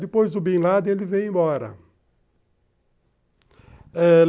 Depois do Bin Laden, ele vem embora.